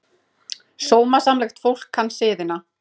Sómasamlegt fólk kann siðina.